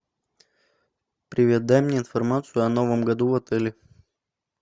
привет дай мне информацию о новом году в отеле